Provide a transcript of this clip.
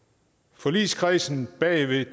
forligskredsen bag